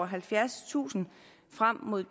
halvfjerdstusind frem mod